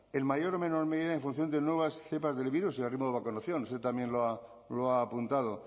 en mayor o menor medida en función de nuevas cepas del virus usted también lo ha apuntado